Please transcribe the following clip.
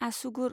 आसुगुर